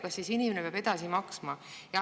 Kas siis inimene peab edasi maksma?